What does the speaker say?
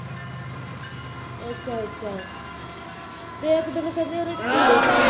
ਅੱਛਾ ਅੱਛਾ, ਅਤੇ ਇੱਕ ਦਿਨ ਕਹਿੰਦੀ ਉਹਦੇ ਕੀੜੇ ਪੈ ਗਏ।